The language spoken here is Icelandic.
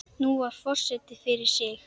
Nú svarar forseti fyrir sig.